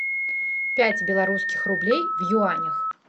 пять белорусских рублей в юанях